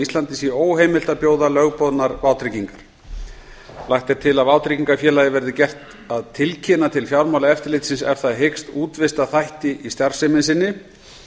íslandi sé óheimilt að bjóða lögboðnar vátryggingar lagt er til að vátryggingafélaga verið gert að tilkynna til fjármálaeftirlitsins ef það hyggst útvista þætti í starfsemi sinni